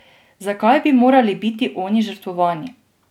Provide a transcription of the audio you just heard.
Zakaj bi morali biti oni žrtvovani?